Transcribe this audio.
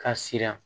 Ka siran